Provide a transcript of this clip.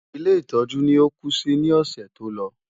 Ilé ìtọ́jú ni ó kú sí ní ọ̀sẹ̀ tó lọ.